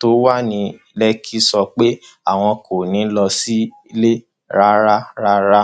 tó wà ní lẹkì sọ pé àwọn kò ní í lọ sílé rárá rárá